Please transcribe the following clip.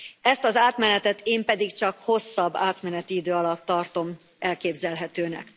Ezt az átmenetet én pedig csak hosszabb átmeneti idő alatt tartom elképzelhetőnek.